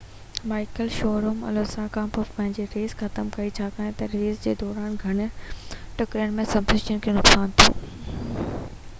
Michael Schumacher Alonso کانپوءِ پنهنجي race ختم ڪيئ ڇاڪاڻ تہ ريس جي دوران گهڻين ٽڪرن ۾ سسپينشن کي نقصان ٿيو